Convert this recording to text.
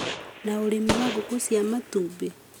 na ũrĩmi wa ngũkũ cia matumbĩ,